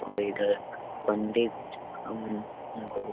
और इधर पंडित अम्म्म मतलब--